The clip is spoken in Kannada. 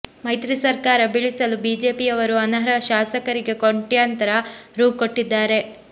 ಮೈತ್ರಿ ಸರ್ಕಾರ ಬೀಳಿಸಲು ಬಿಜೆಪಿಯವರು ಅನರ್ಹ ಶಾಸಕರಿಗೆ ಕೊಟ್ಯಂತರ ರೂ ಕೊಟ್ಟಿದ್ದಾರೆ